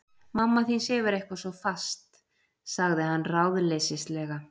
Mamma þín sefur eitthvað svo fast- sagði hann ráðleysislega.